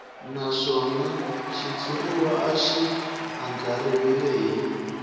naswona xitshuriwa xi andlariwile hi